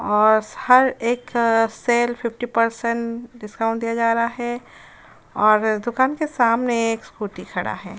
और स हर एक सेल फिफ्टी परसेंट डिस्काउंट दिया जा रहा है और दुकान के सामने एक स्कूटी खड़ा है।